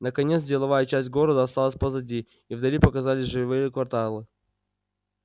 наконец деловая часть города осталась позади и вдали показались жилые кварталы